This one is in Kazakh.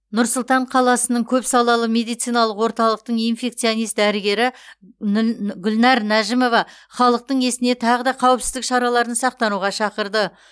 нұр сұлтан қаласының көпсалалы медициналық орталықтың инфекционист дәрігері нү гүлнәр нәжімова халықтың есіне тағы да қауіпсіздік шараларын сақтануға шақырды